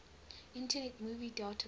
internet movie database